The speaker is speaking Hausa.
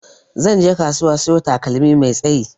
Zanje kasuwa siyo takalmi mai tsayi.